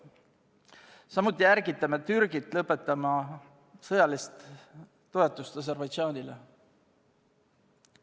Samuti ärgitame Türgit lõpetama sõjalist toetust Aserbaidžaanile.